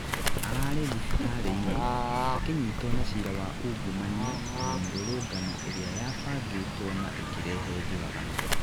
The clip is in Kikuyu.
ararĩ thibitari-ini, akĩnyitwo na cira wa ũngumania na mĩrũrũngano ĩria yabangĩtwo na ĩkirĩhe njũragano